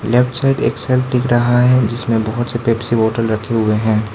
Left side दिख रहा है जिसमे बहोत से पेप्सी बॉटल रखे हुए है।